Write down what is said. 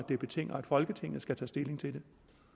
det betinger at folketinget skal tage stilling til det